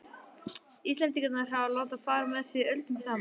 Íslendingar hafa látið fara með sig öldum saman.